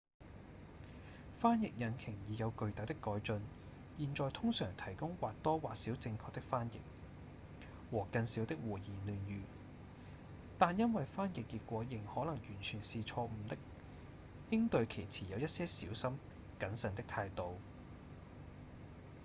翻譯引擎已有巨大的改進現在通常提供或多或少正確的翻譯和更少的胡言亂語但因為翻譯結果仍可能完全是錯誤的應對其持有一些小心謹慎的態度